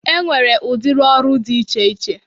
E nwere udiri ọrụ dị iche iche.